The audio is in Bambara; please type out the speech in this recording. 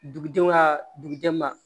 Dugudenw ka dugudenw ma